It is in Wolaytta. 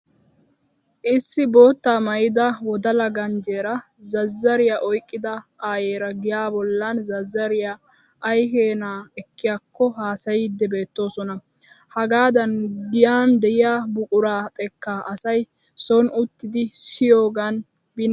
Issi bootta maayida wodala ganjjeeraa zazzariya oyqqida ayyera giyaa bollan zazzariya ay keena ekkiyakko haasayiiddi beettoosona. Hagaadan giyan diya buquraa xekkaa asay son uttidi siyiyogan binnekka shammiigana danddayes.